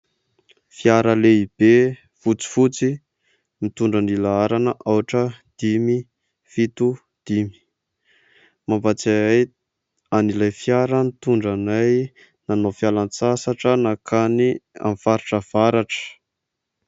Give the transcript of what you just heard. Fiara lehibe fotsifotsy mitondra ny laharana aotra dimy fito dimy, mampatsiahy ahy an'ilay fiara nitondra anay nanao fialan-tsasatra nakany amin'ny faritra Avatra.